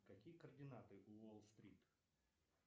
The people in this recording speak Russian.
какие координаты у уолл стрит